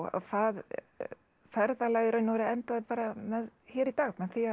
það ferðalag í raun og veru endaði hér í dag með því að